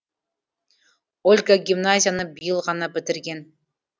ольга гимназияны биыл ғана бітірген